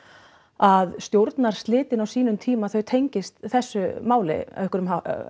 að stjórnarslitin á sínum tíma þau tengist þessu máli á einhvern